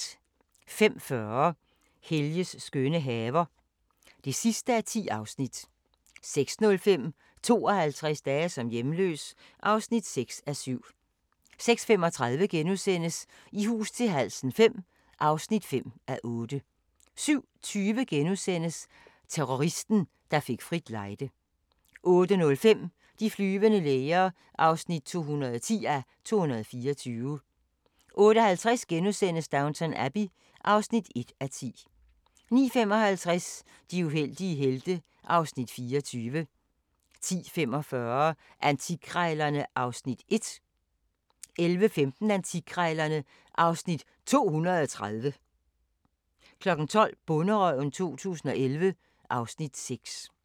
05:40: Helges skønne haver (10:10) 06:05: 52 dage som hjemløs (6:7) 06:35: I hus til halsen V (5:8)* 07:20: Terroristen, der fik frit lejde * 08:05: De flyvende læger (210:224) 08:50: Downton Abbey (1:10)* 09:55: De uheldige helte (Afs. 24) 10:45: Antikkrejlerne (Afs. 1) 11:15: Antikkrejlerne (Afs. 230) 12:00: Bonderøven 2011 (Afs. 6)